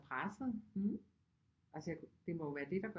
Pressede altså jeg det må jo være det der